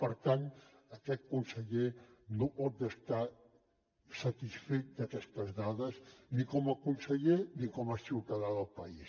per tant aquest conseller no pot estar satisfet d’aquestes dades ni com a conseller ni com a ciutadà del país